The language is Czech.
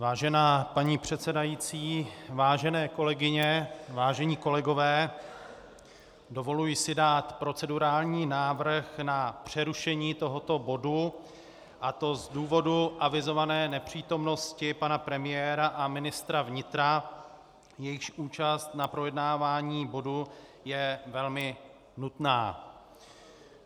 Vážená paní předsedající, vážené kolegyně, vážení kolegové, dovoluji si dát procedurální návrh na přerušení tohoto bodu, a to z důvodu avizované nepřítomnosti pana premiéra a ministra vnitra, jejichž účast na projednávání bodu je velmi nutná.